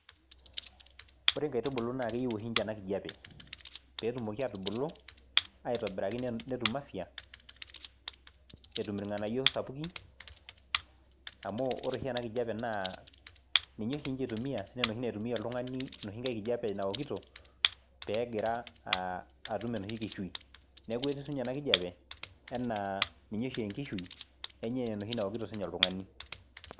Ore nkaitubulu naake eyiu oshi nche ena kijape peetumoki aatubulu aitobiraki ne netum afya, etum irng'anayio sapukin, amu ore oshi ena kijape naa ninye oshi nche itumia naa enoshi naitumia oltung'ani enoshi nkae kijape naokito peegira aa atum enoshi kishui, Neeku etiu siinye ena kijape enaa ninye oshi enkishui enye enaa enoshi nawokito siinye oltung'ani.